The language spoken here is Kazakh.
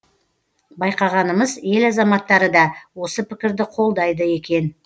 байқағанымыз ел азаматтары да осы пікірді қолдайды екен